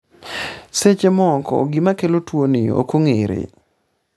seche moko gimakelo tuoni ok ong'ere